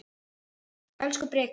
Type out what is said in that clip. Elsku Breki minn.